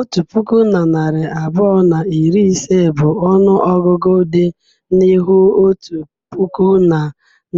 Otu puku na narị abụọ na iri ise bụ ọnụ ọgụgụ dị n'ihu otu puku na